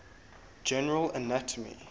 general anatomy